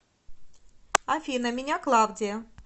афина меня клавдия